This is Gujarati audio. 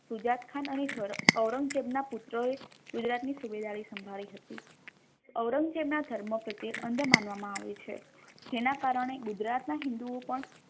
સુજાદ ખાન અને ઔરંગઝેબ ના પુત્ર એ ગુજરાત ની સુબેદારી સાંભળી હતી ઔરંગઝેબ ના ધર્મ પ્રત્યે અંધ માનવામા આવે છે જેના કારણે ગુજરાત ના હિંદુઓ પણ